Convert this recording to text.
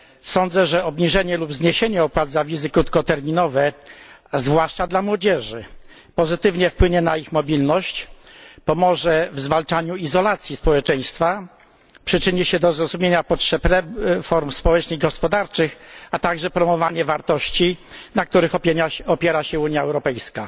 Sądzę, że obniżenie lub zniesienie opłat za wizy krótkoterminowe, zwłaszcza dla młodzieży, pozytywnie wpłynie na ich mobilność, pomoże w zwalczaniu izolacji społeczeństwa, przyczyni się do zrozumienia potrzebnych form społecznych i gospodarczych, a także promowania wartości, na których opiera się Unia Europejska.